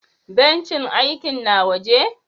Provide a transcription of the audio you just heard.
Bencin aikin na waje?